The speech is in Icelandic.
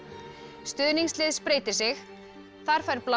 stuðningslið spreytir sig þar fær bláa